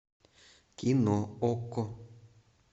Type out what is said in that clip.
кино окко